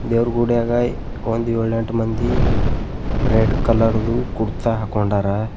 ದೇವರು ಗುಡಿಯಾಗ ಒಂದು ಏಳು ಎಂಟು ಮಂದಿ ರೆಡ್ ಕಲರ್ ದು ಕುರ್ತಾ ಹಾಕಿಕೊಂಡರೆ.